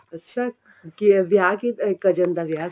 ਅੱਛਾ ਵਿਆਹ ਕੀ cousin ਦਾ ਵਿਆਹ ਸੀ